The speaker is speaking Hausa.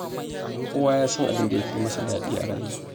Kowa ya san abin da ya fi amsa daɗi a rayuwa.